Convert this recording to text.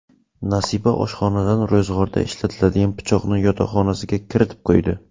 Nasiba oshxonadan ro‘zg‘orda ishlatadigan pichoqni yotoqxonasiga kiritib qo‘ydi.